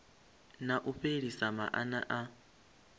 na u fhelisa maana a